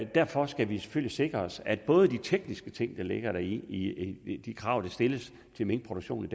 derfor skal vi selvfølgelig sikre os at både de tekniske ting der ligger i i de krav der stilles til minkproduktionen